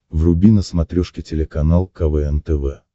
вруби на смотрешке телеканал квн тв